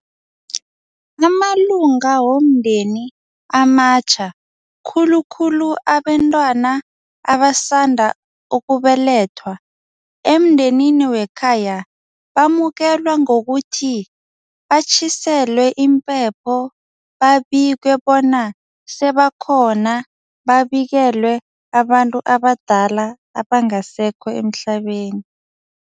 Amalunga womndeni amatjha khulukhulu abentwana abasanda ukubelethwa emndenini wekhaya bamukelwa ngokuthi, batjhiselwe impepho, babikwe bona sebakhona, babikelwe abantu abadala abangasekho emhlabeni.